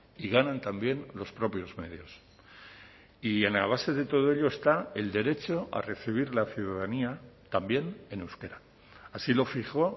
y ganan también los propios medios y en la base de todo ello está el derecho a recibir la ciudadanía también en euskera así lo fijó